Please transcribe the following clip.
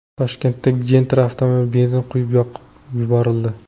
Toshkentda Gentra avtomobili benzin quyib yoqib yuborildi.